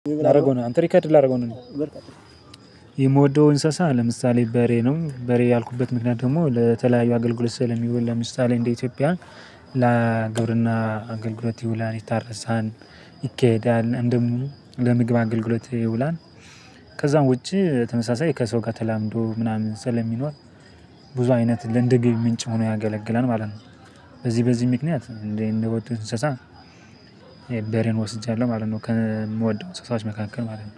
ላደርገው ነው አንተ ሪከርድ ላደርገው ነው። የምወደው እንስሳ ለምሳሌ በሬ ነው በሬ ያልኩበት ምክንያት ደግሞ ለተለያዩ አገልግሎት ስዕል የሚውል ለምሳሌ እንደ ኢትዮጵያ ለግብርና አገልግሎት ይውላን ይታረሳን ይካሄዳል እንደውም ለምግብ አገልግሎት ይውላል። ከዛም ውጪ ተመሳሳይ ከሰው ጋር ተላምዶ ምናምን ስለሚኖር ብዙ አይነት እንደ ገቢ ምንጭ ሆኖ ያገለግለን ማለት ነው። በዚህ በዚህ ምክንያት እንዴ እንደወጡ እንሰሳ በሬን ወስጃለሁ ማለት ነው። ከምወደው እንሰሳወች መካከል ማለት ነው